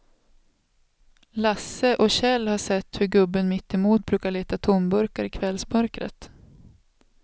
Lasse och Kjell har sett hur gubben mittemot brukar leta tomburkar i kvällsmörkret.